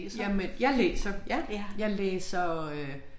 Jamen jeg læser ja jeg læser øh